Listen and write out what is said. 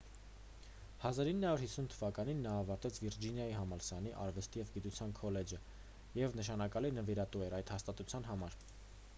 1950 թվականին նա ավարտեց վիրջինիայի համալսարանի արվեստի և գիտության քոլեջը և նշանակալի նվիրատու էր այդ հաստատության համար